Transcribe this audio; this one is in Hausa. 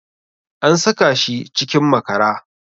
An saka shi cikin makara